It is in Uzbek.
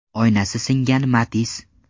Oynasi singan Matiz.